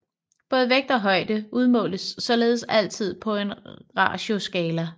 Både vægt og højde udmåles således altid på en ratioskala